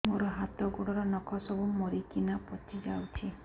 ମୋ ହାତ ଗୋଡର ନଖ ସବୁ ମରିକିନା ପଚି ଯାଉଛି